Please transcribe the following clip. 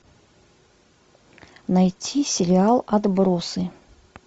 найти сериал отбросы